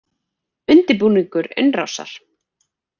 Undirbúningur innrásar